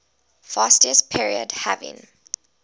fascist period having